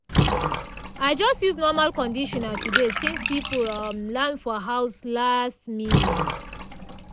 i just use normal conditioner today since people um land for house last minute.